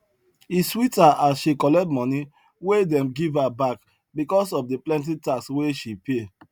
e sweet her as she collect money wey dem give her back because of the plenty tax wey she pay